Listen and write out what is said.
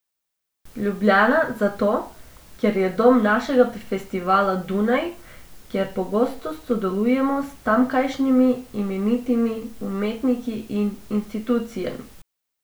Ljubljana zato, ker je dom našega festivala, Dunaj, ker pogosto sodelujemo s tamkajšnjimi imenitnimi umetniki in institucijami.